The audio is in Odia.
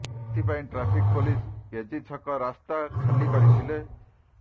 ଏଥିପାଇଁ ଟ୍ରାଫିକ ପୋଲିସ ଏଜି ଛକ ରାସ୍ତା ଖାଲି କରିଥିଲେ